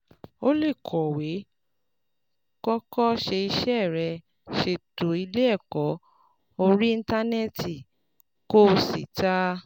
O lè kọ̀wé, kọ́kọ́ ṣe iṣẹ́ rẹ, ṣètò ilé ẹ̀kọ́ orí Íńtánẹ́ẹ̀tì, kó o sì ta